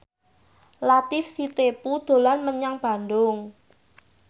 Latief Sitepu dolan menyang Bandung